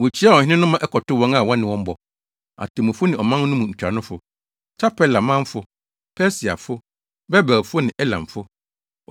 Wokyiaa ɔhene no ma ɛkɔtoo wɔn a wɔne wɔn bɔ, atemmufo ne ɔman no mu ntuanofo, Tarpela manfo, Persiafo, Babelfo ne Elamfo.